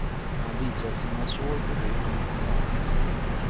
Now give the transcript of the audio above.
Han visar sina sår på ryggen och på magen. punkt